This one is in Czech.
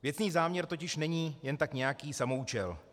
Věcný záměr totiž není jen tak nějaký samoúčel.